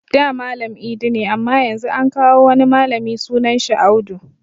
Da Malam idi ne amma Yanzu an kawo wani malami sunan shi Audu